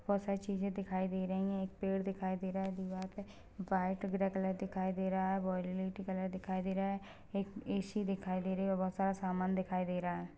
बहोत सारी चीजें दिखाई दे रही है एक पेड़ दिखाई दे रहा है दीवाल पे व्हाइट ग्रे कलर दिखाई दे रहा है वाइलेट कलर दिखाई दे रहा है एक ए.सी. दिखाई दे रहा है और बहोत सारा सामान दिखाई दे रहा हैं।